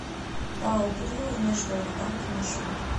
пао прио внешторгбанк маршрут